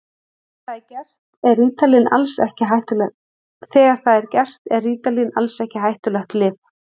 Þegar það er gert er rítalín alls ekki hættulegt lyf.